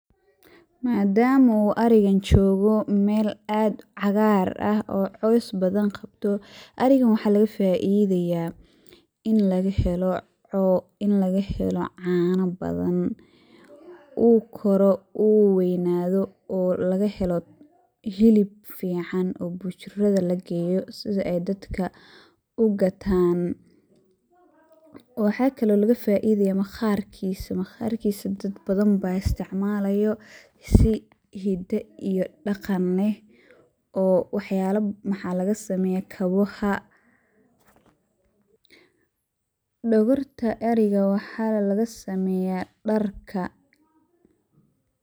Madama u arigan jogoo mel aad cagaar ah oo cos badan qabto, arigan waxaa laga faidaya in laga helo caana badan uu koro uu weynado oo laga helo hilib fican oo bujurada lageeyo sida ay dadka ugataan waxakale oo laga faidaya maqaarkiis, maqaarkiisa dad badan ba isticmaalo si hida iyo dhaqan leh oo maxa lagasameeya kabaha, dhogorta ariga waxana lagasameeya dharka